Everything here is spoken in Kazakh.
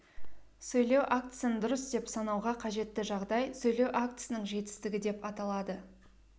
сөйлеу актісін дұрыс деп санауға қажетті жағдай сөйлеу актісінің жетістігі деп аталады